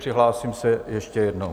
Přihlásím se ještě jednou.